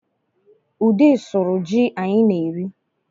Ude sụrụ ji anyị na-eme